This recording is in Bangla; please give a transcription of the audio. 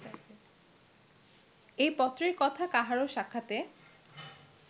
এ পত্রের কথা কাহারও সাক্ষাতে